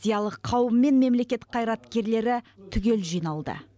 зиялы қауым мен мемлекет қайраткерлері түгел жиналды